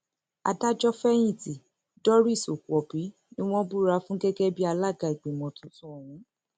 adájọfẹyìntì doris okuwòbí ni wọn búra fún gẹgẹ bíi alága ìgbìmọ tuntun ọhún